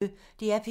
DR P1